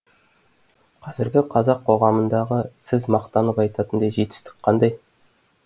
қазіргі қазақ қоғамындағы сіз мақтанып айтатындай жетістік қандай